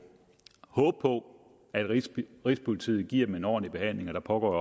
håbe på at rigspolitiet giver dem en ordentlig behandling og der pågår